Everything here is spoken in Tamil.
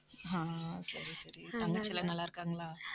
ஆஹ் சரி, சரி, தங்கச்சி எல்லாம் நல்லா இருக்காங்களா